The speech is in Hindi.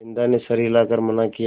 बिन्दा ने सर हिला कर मना किया